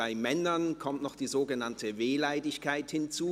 «Bei Männern kommt noch die sogenannte ‹Wehleidigkeit› hinzu;